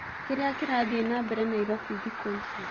kĩria kĩrathĩe nambere naĩrobĩ thĩkũĩcĩ